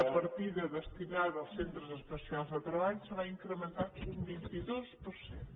de partides destinades als centres especials de treball se va incrementar un vint dos per cent